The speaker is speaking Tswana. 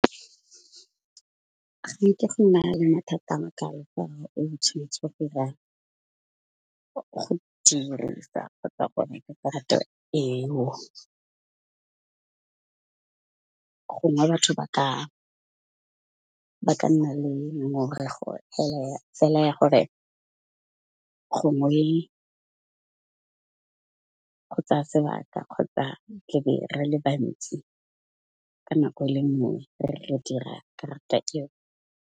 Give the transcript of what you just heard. Ge nke go na le mathata a makalo ka fa o go dirisa kgotsa gone eo. Gongwe batho ba ka nna le ngongorego fela ya gore, gongwe go tsaya sebaka kgotsa re be re le bantsi ka nako e leng gore re dira karata eo.